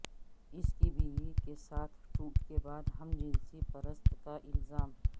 اس کی بیوی کے ساتھ ٹوٹ کے بعد ہم جنس پرست کا الزام